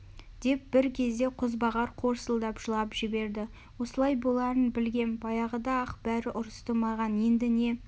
деп бір кезде қозбағар қорсылдап жылап жіберді осылай боларын білгем баяғыда-ақ бәрі ұрысты маған енді не